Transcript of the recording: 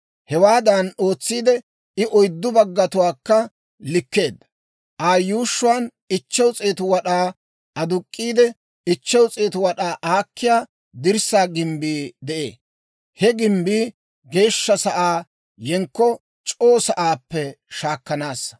Hewaadan ootsiide, I oyddu baggatuwaakka likkeedda. Aa yuushshuwaan 500 wad'aa aduk'k'iide, 500 wad'aa aakkiyaa dirssaa gimbbii de'ee. He gimbbii geeshsha sa'aa yenkko c'oo sa'aappe shaakkanaassa.